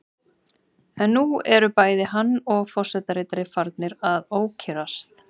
En nú eru bæði hann og forseta ritari farnir að ókyrrast.